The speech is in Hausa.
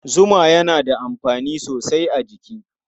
Zuma yana da amfani sosai a jiki.